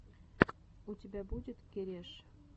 у тебя будет кереш